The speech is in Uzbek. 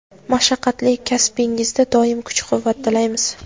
mashaqqatli kasbingizda doim kuch-quvvat tilaymiz!.